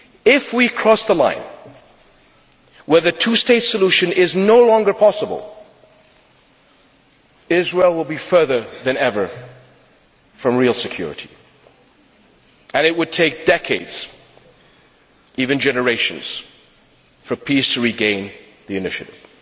If we cross the line where the two state solution is no longer possible, Israel will be further than ever from real security and it would take decades, even generations, for peace to regain the initiative.